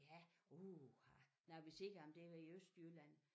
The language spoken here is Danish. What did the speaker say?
Ja uha når vi ser om det i Østjylland